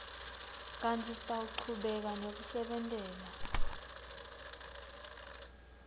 kantsi sitawuchubeka nekusebentela